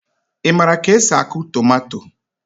ị maara ka esi akụ tomato